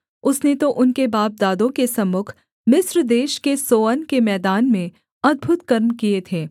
उसने तो उनके बापदादों के सम्मुख मिस्र देश के सोअन के मैदान में अद्भुत कर्म किए थे